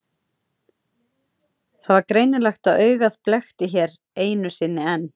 Það var greinilegt að augað blekkti hér einu sinni enn.